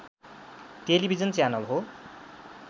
television channel हो